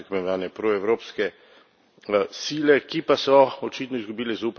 proevropske sile, ki pa so očitno izgubile zaupanje državljanov.